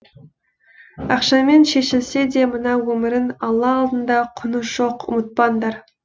ақшамен шешілсе де мына өмірің алла алдында құны жоқ ұмытпаңдар